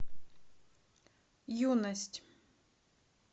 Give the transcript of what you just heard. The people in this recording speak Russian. юность